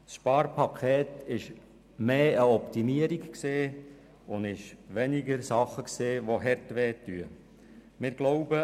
Beim Sparpaket handelt es sich eher um eine Optimierung und es ging weniger um Dinge, die wirklich schmerzten.